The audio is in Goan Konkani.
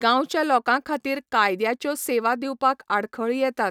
गांवच्या लोकां खातीर कायद्याच्यो सेवा दिवपाक आडखळी येतात.